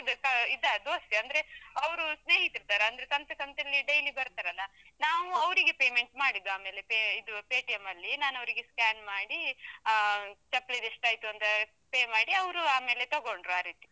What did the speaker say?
ಇದಾ दोस्ती ಅಂದ್ರೆ, ಅವ್ರು ಸ್ನೇಹಿತರರತರ ಅಂದ್ರೆ ಸಂತೆ ಸಂತೆಲ್ಲಿ daily ಬರ್ತಾರಲ್ಲಾ, ನಾವು ಅವರಿಗೆ payment ಮಾಡಿದ್ದು ಆಮೇಲೆ, pay ಇದು Paytm ಅಲ್ಲಿ ನಾನವರಿಗೆ scan ಮಾಡಿ, ಆ ಚಪ್ಲಿದು ಎಸ್ಟು ಆಯ್ತು ಅಂತ pay ಮಾಡಿ ಅವ್ರು ಆಮೇಲ್ ತಗೊಂಡ್ರು ಆರೀತಿ.